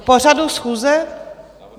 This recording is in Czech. K pořadu schůze?